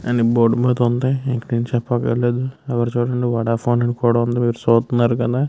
And board మీద వుంది ఇంక నేను చెప్పకర్లేదు ఎవరు చూడని వోడాఫోన్ కూడా వుంది మీరు సుత్నారుకదా.